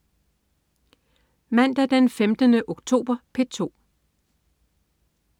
Mandag den 15. oktober - P2: